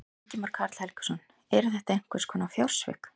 Ingimar Karl Helgason: Eru þetta einhvers konar fjársvik?